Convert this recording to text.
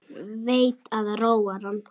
Veit að það róar hann.